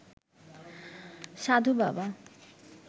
সাধু বাবা